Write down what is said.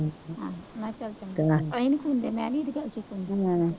ਆਪਾਂ ਇਹ ਨਹੀਂ ਸੁਣਦੇ, ਮੈਂ ਨਹੀਂ ਕਿਸੇ ਦੀ ਸੁਣਦੀ ਹੁੰਦੀ